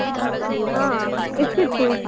ಹಾ ಎಷ್ಟಿತ್ತು.